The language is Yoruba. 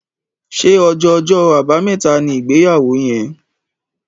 Ṣe ọjọ Ọjọ́ Àbàmẹ́ta ní ìgbéyàwó yén?